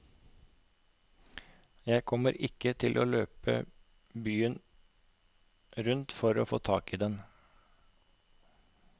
Jeg kommer ikke til å løpe byen rundt for å få tak i den.